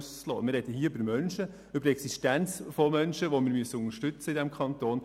Wir sprechen über Menschen, über die Existenz von Menschen, welche wir unterstützen müssen in diesem Kanton.